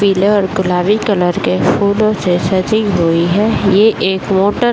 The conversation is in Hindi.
पिले और गुलाबी कलर के फूलो से सजी हुई है ये एक मोटर --